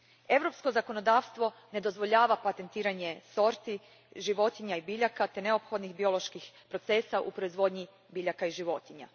Europsko zakonodavstvo ne dozvoljava patentiranje sorti životinja i biljaka te neophodnih bioloških procesa u proizvodnji biljaka i životinja.